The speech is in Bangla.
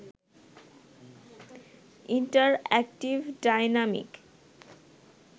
interactive, dynamic